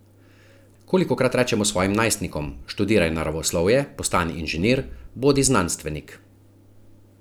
Kolikokrat rečemo svojim najstnikom: "Študiraj naravoslovje, postani inženir, bodi znanstvenik.